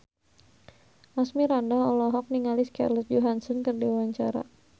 Asmirandah olohok ningali Scarlett Johansson keur diwawancara